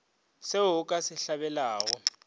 se o ka se hlabelago